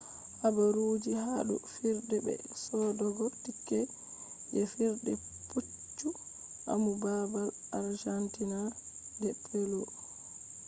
habaruji ha dou fijirde be sodogo tickets je fijirde poccu amu babal argentina de polo